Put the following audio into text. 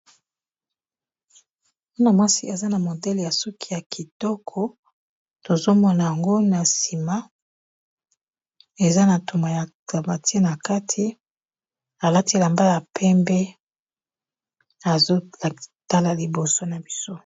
Mwana mwasi aza na modele ya suki ya kitoko tozo mona yango na sima eza na toma ya aclamati na kati a latil elambal ya pembe azo tala liboso na biso .